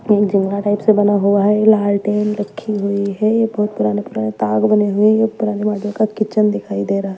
type से बना हुआ है लालटेन रखी हुई है बहोत पुराने पुराने ताग बने हुए हैं पुराने मॉडल का किचन दिखाई दे रहा--